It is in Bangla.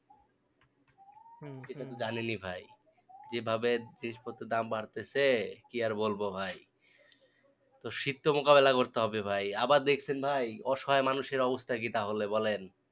সেটাতো জানিনি ভাই যেভাবে জিনিস পত্রের দাম বাড়তেছে কি আর বলবো ভাই তো শীত তো মোকাবিলা করতে হবে ভাই, আবার দেখছেন ভাই অসহায় মানুষের অবস্থা কি তাহলে বলেন